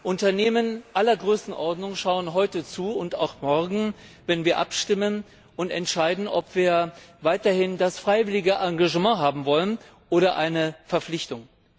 Unternehmen aller Größenordnungen schauen heute und auch morgen zu, wenn wir abstimmen und entscheiden, ob wir weiterhin das freiwillige Engagement haben wollen oder eine Verpflichtung.